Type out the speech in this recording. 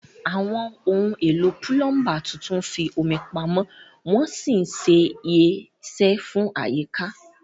Àwọn ohun èlò púlọ́ńbà tuntun ń fi omi pamọ́ wọ́n sì ṣe é ṣe fún àyíká.